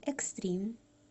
экстрим